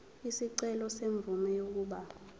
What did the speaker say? isicelo semvume yokuba